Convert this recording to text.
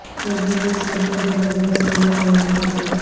face بک نے صارفین کو زبردست سہولت فراہم کردی